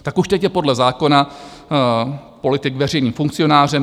Tak už teď je podle zákona politik veřejným funkcionářem.